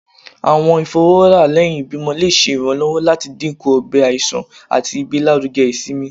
Awọn ifọwọra lẹhin ibimọ le ṣe iranlọwọ lati dinku ọgbẹ iṣan ati igbelaruge isinmi.